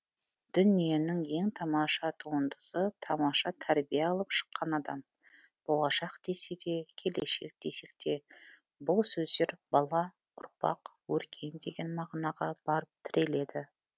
дүниенің ең тамаша туындысы тамаша тәрбие алып шыққан адам болашақ десек те келешек десек те бұл сөздер бала ұрпақ өркен деген мағынаға барып тіреледі